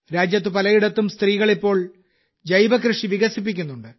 രാജ്യത്ത് പലയിടത്തും സ്ത്രീകൾ ഇപ്പോൾ ജൈവകൃഷി വികസിപ്പിക്കുന്നുണ്ട്